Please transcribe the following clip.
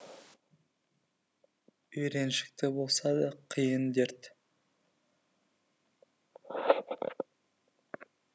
үйреншікті болса да қиын дерт